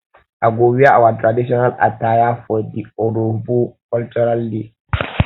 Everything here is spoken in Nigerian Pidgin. i go wear our traditional attire um for di urhobo um cultural um day